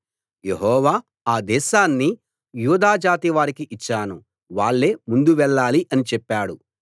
యెహోవా ఆ దేశాన్ని యూదాజాతి వారికి ఇచ్చాను వాళ్ళే ముందు వెళ్ళాలి అని చెప్పాడు